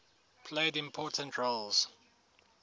played important roles